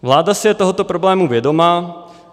Vláda si je tohoto problému vědoma.